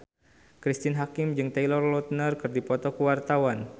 Cristine Hakim jeung Taylor Lautner keur dipoto ku wartawan